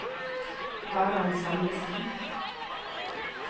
Harald Salvesen